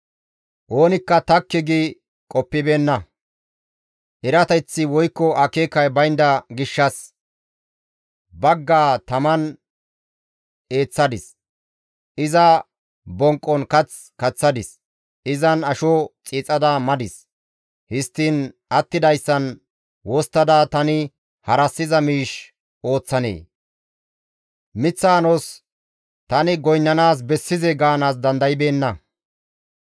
Oonikka takki gi qoppibeenna; erateththi woykko akeekay baynda gishshas, «Baggaa taman eeththadis; iza bonqqon kath kaththadis; izan asho xiixada madis; histtiin attidayssan wosttada tani harassiza miish ooththanee? miththa anos tani goynnana bessizee?» gaanaas dandaybeenna.